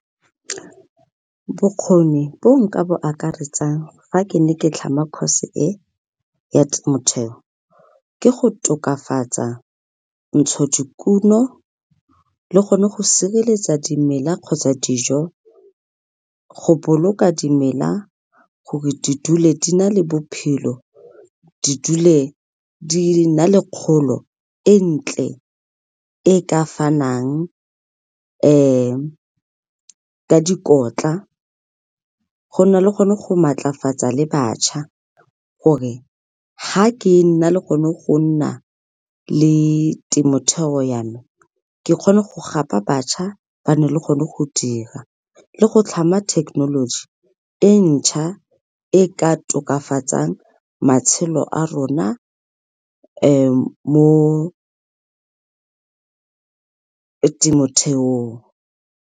Bokgoni bo nka bo akaretsang fa ke ne ke tlhama course e ya temotheo ke go tokafatsa ntshodikuno le gone go sireletsa dimela kgotsa dijo, go boloka dimela gore di dule di na le bophelo di dule di na le kgolo e ntle e ka fanang ka dikotla go na le gone go maatlafatsa le batjha gore ga ke na le gone go nna le temotheo yame ke kgone go gapa batjha ba nne le gone go dira le go tlhama technology e ntšha e ka tokafatsang matshelo a rona mo temotheong.